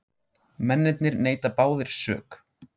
Mennirnir neita báðir sök